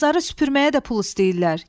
Bazarı süpürməyə də pul istəyirlər.